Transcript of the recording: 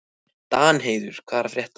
Danheiður, hvað er að frétta?